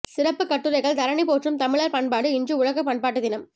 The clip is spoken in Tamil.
சிறப்பு கட்டுரைகள் தரணி போற்றும் தமிழர் பண்பாடு இன்று உலக பண்பாட்டு தினம்